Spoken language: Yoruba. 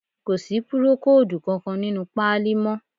Kò sí púrókòòdù kankan nínú páálí mọ́